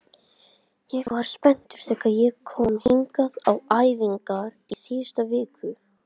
Ég var spenntur þegar ég kom hingað á æfingar í síðustu viku.